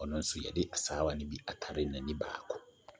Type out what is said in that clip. ɔno nso yɔde asaawa no bi atare n'ani baako.